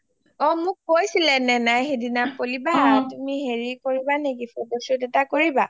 অ মোক কৈছিলে naina ই সেইনা poly বা তুমি হেৰি কৰিবা নকি photo shoot এটা কৰিবা?